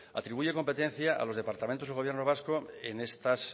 atribuye competencia a los departamentos del gobierno vasco en estas